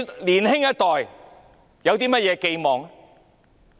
年輕一代還有甚麼寄望？